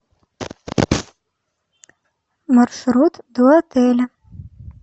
маршрут до отеля